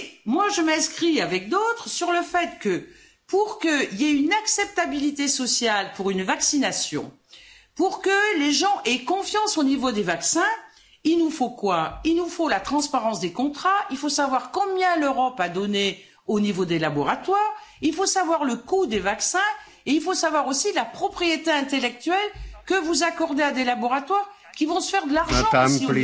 Moi je m'inscris avec d'autres sur le fait que, pour qu'il y ait une acceptabilité sociale pour une vaccination, pour que les gens aient confiance dans les vaccins, il nous faut quoi? Il nous faut la transparence des contrats, il faut savoir combien l'Europe a donné aux laboratoires, il faut savoir le coût des vaccins, il faut savoir aussi la propriété intellectuelle que vous accordez à des laboratoires qui vont se faire de l'argent aussi.